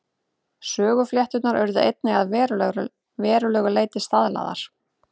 Söguflétturnar urðu einnig að verulegu leyti staðlaðar.